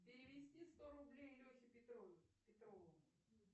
перевести сто рублей лехе петрову